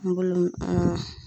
I b'olu an